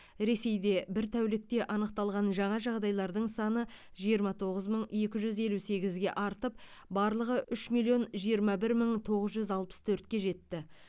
ресейде бір тәулікте анықталған жаңа жағдайлардың саны жиырма тоғыз мың екі жүз елу сегізге артып барлығы үш миллион жиырма бір мың тоғыз жүз алпыс төртке жетті